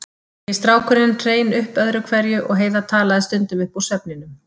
Nýi strákurinn hrein upp öðru hverju og Heiða talaði stundum upp úr svefninum.